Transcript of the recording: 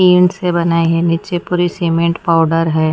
Tin से बनाये हैं नीचे पूरी सीमेंट पाउडर है।